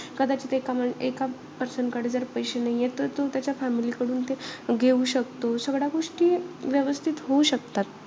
कदाचित एका मा एका person कडे पैसे नाहीयेत. त तो त्याच्या family कडून ते घेऊ शकतो. सगळ्या गोष्टी व्यवस्थित होऊ शकतात.